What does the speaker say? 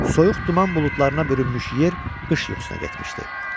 Soyuq duman buludlarına bürünmüş yer qış yuxusuna getmişdi.